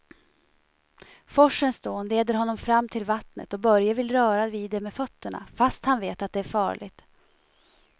Forsens dån leder honom fram till vattnet och Börje vill röra vid det med fötterna, fast han vet att det är farligt.